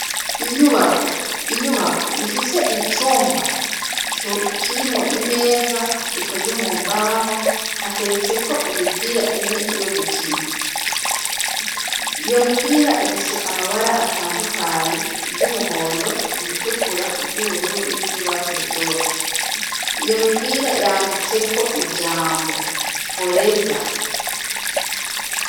Inyubako ifise icumba kirimwo imeza ikoze mu mbaho hateretseko imipira ine yo gukina, iyo mipira ifise amabara atandukanye, iryumuhondo, iritukura, iryubururu, n'iryurwatsi rutoto, iyo mipira yanditseko ijambo foreza.